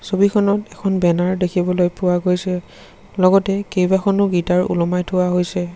ছবিখনত এখন বেনাৰ দেখিবলৈ পোৱা গৈছে লগতে কেবাখনো গীটাৰ ওলমাই থোৱা হৈছে।